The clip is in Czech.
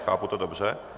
Chápu to dobře?